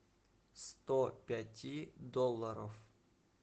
сто пяти долларов